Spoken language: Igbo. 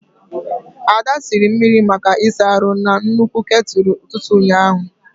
Ada siri mmiri maka ịsa ahu na nnukwu ketulu ututu ụnyaahụ.